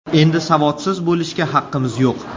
Endi savodsiz bo‘lishga haqqimiz yo‘q.